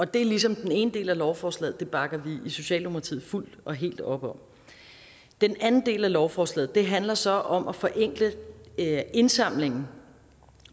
det er ligesom den ene del af lovforslaget og det bakker vi i socialdemokratiet fuldt og helt op om den anden del af lovforslaget handler så om at forenkle indsamlingen